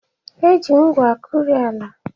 Eji ngwu akụri ala.